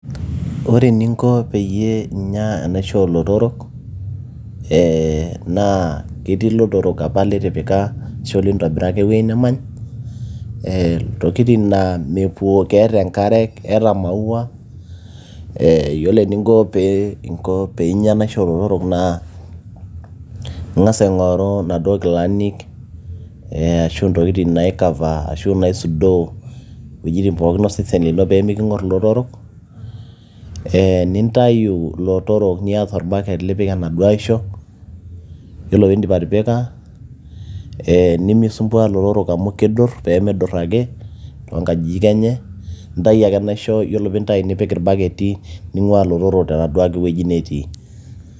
ore eninko peyie inyia enaisho oolotorok ee naa ketii ilotorok apa litipika ashua lintobiraka ewueji nemany ee intokitin naa mepuo keeta enkare keeta maua eeyiolo eninko pee inyia enaisho oolotorok naa ing'as aing'oru inaduo kilanik ashu intokitin nai cover ashu inaisudoo wuejitin pookin osesen lino peemiking'orr ilotorok ee nintayu ilotorok niata orbaket lipik enaduo aisho yiolo piindip atipika ee nemisumbua ilotorok amu kidurr peemidurr ake toonkajijik enye intai ake enaisho yiolo piintai nipik irbaketi ning'ua ilotorok tenaduo wueji ake netii.